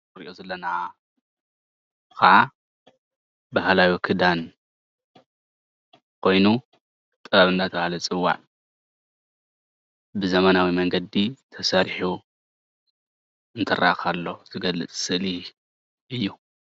እዚ እንሪኦ ዘለና ከዓ ባህላዊ ክዳን ኮይኑ ጥበብ እንዳተባሃለ ዝፅዋዕ ብዘመናዊ መንገዲ ተሰሪሑ እንትረአ ከሎ ዝገልፅ ስእሊ እዩ፡፡